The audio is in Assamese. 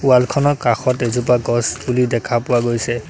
ৱাল খনৰ কাষত এজোপা গছপুলি দেখা পোৱা গৈছে।